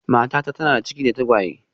Matata tana da ciki da tagwaye